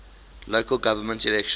local government elections